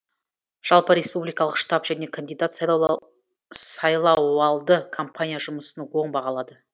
жалпы республикалық штаб және кандидат сайлауалды компания жұмысын оң бағалады